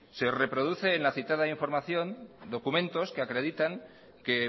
se reproduce en la citada información documentos que acreditan que